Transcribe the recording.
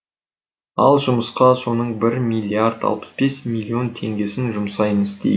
ал жұмысқа соның бір миллиард алпысбес миллион теңгесін жұмсаймыз